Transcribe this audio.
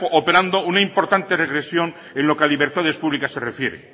operando una importante regresión en lo que a libertades públicas se refiere